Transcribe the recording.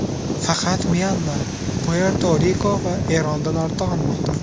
Faqat Myanma, Puerto-Riko va Erondan ortda qolmoqda.